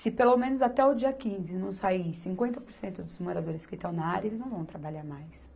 Se pelo menos até o dia quinze não sair cinquenta por cento dos moradores que estão na área, eles não vão trabalhar mais.